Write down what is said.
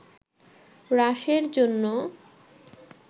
হ্রাসের জন্য